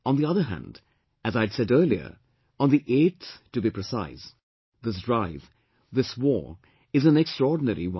On the other hand, as I'd said earlier, on the 8th to be precise, this drive, this war is an extraordinary one